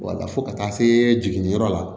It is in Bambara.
Wala fo ka taa se jiginniyɔrɔ la